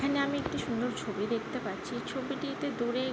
এখানে আমি একটি সুন্দর ছবি দেখতে পাচ্ছি ছবিটিতে দূরে--